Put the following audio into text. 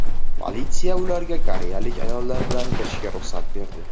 Politsiya ularga koreyalik ayollar bilan kirishiga ruxsat berdi.